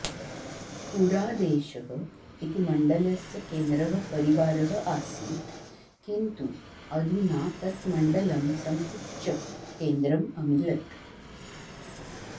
पुरा देशः इति मण्डलस्य केन्द्रः परिवारः आसीत् किन्तु अधुना तत् मण्डलं संकुच्य केन्द्रम् अमिलत्